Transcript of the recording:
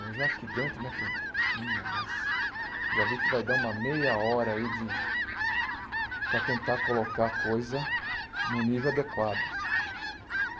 Eu já aqui dentro, né, falei... minha, nossa... já vi que vai dar uma meia hora aí de... para tentar colocar a coisa num nível adequado.